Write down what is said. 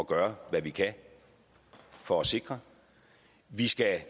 gøre hvad vi kan for at sikre vi skal